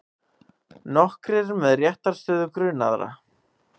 Nokkrir með réttarstöðu grunaðra